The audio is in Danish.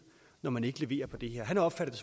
når man ikke leverer på det her han opfattede